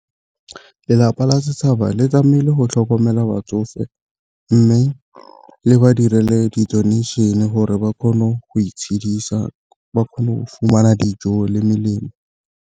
Lelapa la setšhaba le tlamahile go tlhokomela batsofe, mme le ba direle di-donation e gore ba kgone go itshidisa ba kgone go fumana dijo le melemo.